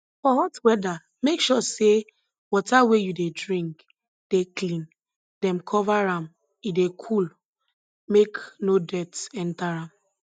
for hot weather make sure say water wey you dey drink dey clean dem cover am e dey cool make no dirt enter am